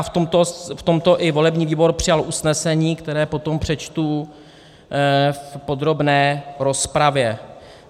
A v tomto i volební výbor přijal usnesení, které potom přečtu v podrobné rozpravě.